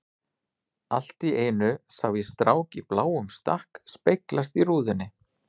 Allt í einu sá ég strák í bláum stakk speglast í rúðunni.